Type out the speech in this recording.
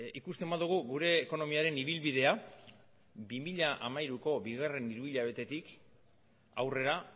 ikusten badugu gure ekonomiaren ibilbidea bi mila hamairuko bigarren hiruhilabetetik aurrera